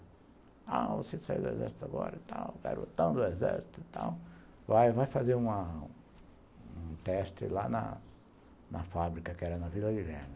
Ah, você saiu do exército agora e tal, garotão do exército e tal, vai fazer um teste lá na fábrica que era na Vila Guilherme.